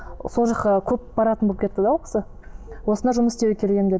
сол жаққа көп баратын болып кетті де ол кісі осында жұмыс істеуге келгенмін деді